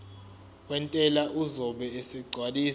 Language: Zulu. wentela uzobe esegcwalisa